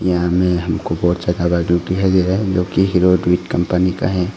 यहां में हमको बहोत ज्यादा डुएट दिखाई दे रहा है जोकि हीरो डुएट कंपनी का है।